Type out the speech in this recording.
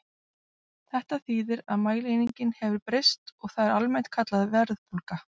Þetta þýðir að mælieiningin hefur breyst og það er almennt kallað verðbólga.